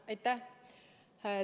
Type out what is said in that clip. Aitäh!